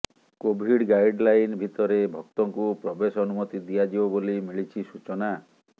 Covid guideline ଭିତରେ ଭକ୍ତଙ୍କୁ ପ୍ରବେଶ ଅନୁମତି ଦିଆଯିବ ବୋଲି ମିଳିଛି ସୂଚନା